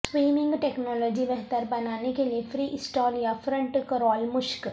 swimming technology بہتر بنانے کے لئے فری اسٹائل یا فرنٹ کرال مشق